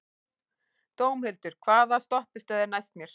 Dómhildur, hvaða stoppistöð er næst mér?